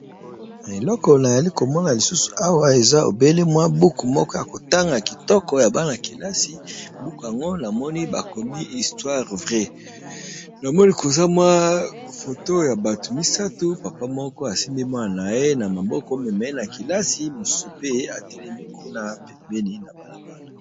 Eloko nayali komona lisusu awa eza obele mwa buku moko ya kotanga kitoko ya bana-kelasi. Buku yango namoni bakomi histoire vrai namoni koza mwa foto ya batu misato, papa moko asimbi mwana na ye na maboko. Mema ye na kelasi, mususu pe atelemi kuna pembeni na bala bala.